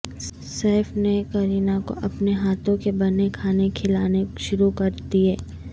safe نے کرینہ کو اپنے ہاتھوں کے بنے کھانے کھلانے شروع کردئے